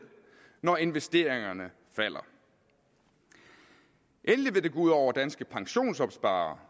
når investeringerne falder endelig vil det gå ud over de danske pensionsopsparere